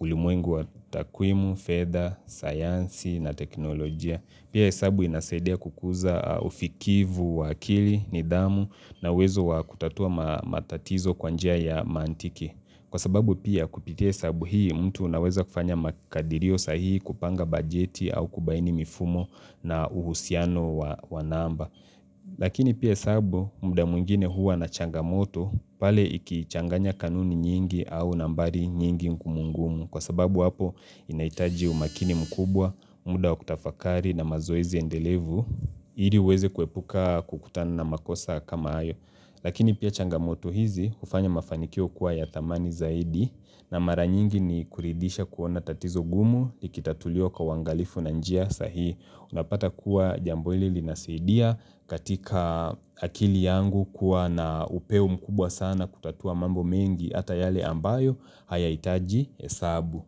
ulimwengu wa takwimu, fedha, sayansi na teknolojia. Pia hesabu inasaidia kukuza ufikivu, wa akili, nidhamu na uwezo wakutatua ma matatizo kwa njia ya mantiki. Kwa sababu pia kupitia hesabu hii mtu anaweza kufanya makadirio sahihi kupanga bajeti au kubaini mifumo na uhusiano wa wa namba. Lakini pia hesabu muda mwingine huwa na changamoto pale ikichanganya kanuni nyingi au nambari nyingi ngumu ngumu kwa sababu hapo inahitaji umakini mkubwa, muda wa kutafakari na mazoezi endelevu Iri uweze kuepuka kukutana na makosa kama hayo. Lakini pia changamoto hizi hufanya mafanikio kuwa ya thamani zaidi na mara nyingi ni kuridhisha kuona tatizo ngumu likitatuliwa kwa uangalifu na njia sahihi unapata kuwa jambo hili linasidia katika akili yangu kuwa na upeo mkubwa sana kutatua mambo mengi ata yale ambayo haya hitaji hesabu.